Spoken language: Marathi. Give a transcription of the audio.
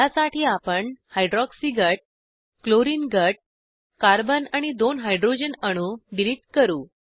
ह्यासाठी आपण हायड्रॉक्सी गट क्लोरिन गट कार्बन आणि दोन हायड्रॉजन अणू डिलिट करू